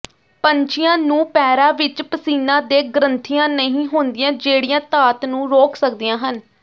ਪੰਛੀਆਂ ਨੂੰ ਪੈਰਾਂ ਵਿਚ ਪਸੀਨਾ ਦੇ ਗ੍ਰੰਥੀਆਂ ਨਹੀਂ ਹੁੰਦੀਆਂ ਜਿਹੜੀਆਂ ਧਾਤ ਨੂੰ ਰੁਕ ਸਕਦੀਆਂ ਹਨ